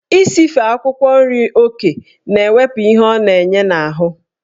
Isife akwụkwọ nri oke na-ewepụ ihe ọ na-enye n'ahụ.